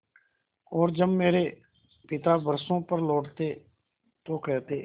और जब मेरे पिता बरसों पर लौटते तो कहते